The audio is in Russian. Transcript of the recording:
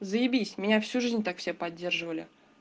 заебись меня всю жизнь так все поддерживали